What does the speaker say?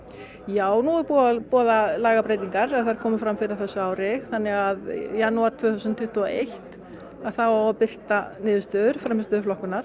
já nú er búið að boða lagabreytingar þær komu fram fyrr á þessu ári þannig að í janúar tvö þúsund tuttugu og eitt að þá á að birta niðurstöður